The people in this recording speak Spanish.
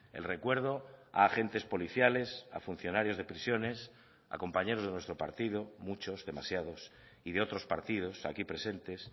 el recuerdo a agentes policiales a funcionarios de prisiones a compañeros de nuestro partido muchos demasiados y de otros partidos aquí presentes